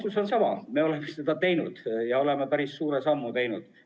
Vastus on sama: me oleme seda teinud, me oleme päris suure sammu teinud.